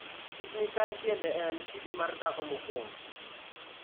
Kit-mikayi tiende en "kidi mar dhako mokwongo"